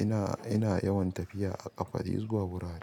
ina, ina yawan tafiya a ƙafa zuwa wurare.